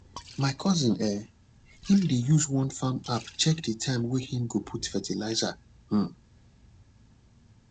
my cousin eh him dey use one farm app check de time way him go put fertilizer um